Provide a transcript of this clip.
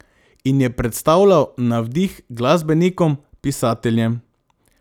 In je predstavljal navdih glasbenikom, pisateljem.